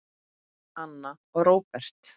Anna og Róbert.